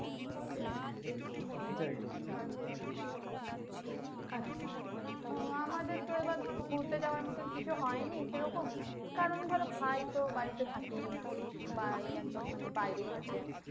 আচ্ছা ও আমাদের তো এবার ধরো ঘুরতে যাওয়ার মতো কিছু হয়নি সে রকম কারণ ধরো ভাই তো বাড়িতে থাকেই না বা একদম বাইরেই থাকেন।